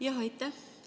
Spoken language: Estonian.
Jah, aitäh!